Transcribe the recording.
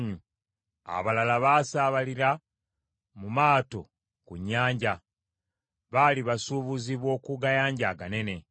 Abalala baasaabalira mu maato ku nnyanja; baali basuubuzi b’oku gayanja aganene.